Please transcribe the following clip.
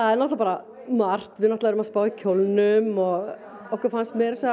er náttúrulega bara margt við erum að spá í kjólnum og okkur fannst meira að segja